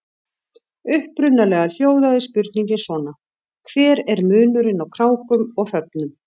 Upprunalega hljóðaði spurningin svona: Hver er munurinn á krákum og hröfnum?